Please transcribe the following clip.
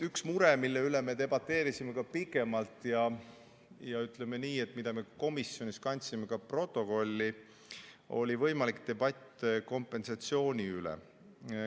Üks mure, mille üle me debateerisime pikemalt ja mille me kandsime ka protokolli, oli võimalik debatt kompensatsiooni üle.